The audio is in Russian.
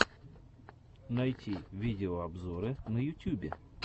найти видеообзоры на ютюбе